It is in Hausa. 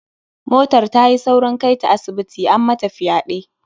Motar ta yi saurin kai ta asibiti, an mata fyaɗe.